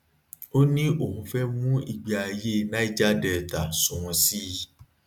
ó ní òun fẹ mu ìgbé ayé niger delta sunwọn sí i